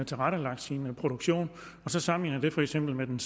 tilrettelagt sin produktion og så sammenligner det for eksempel med en